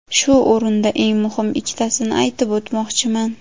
Shu o‘rinda eng muhim ikkitasini aytib o‘tmoqchiman.